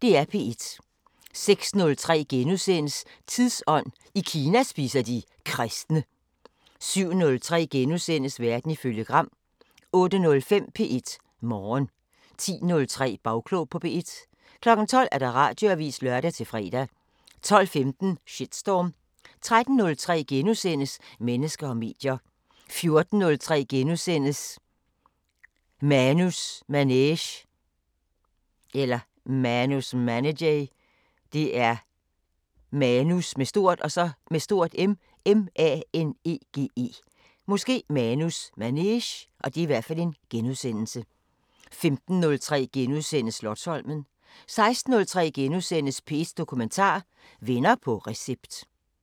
06:03: Tidsånd: I Kina spiser de kristne * 07:03: Verden ifølge Gram * 08:05: P1 Morgen 10:03: Bagklog på P1 12:00: Radioavisen (lør-fre) 12:15: Shitstorm 13:03: Mennesker og medier * 14:03: Manus Manege * 15:03: Slotsholmen * 16:03: P1 Dokumentar: Venner på recept *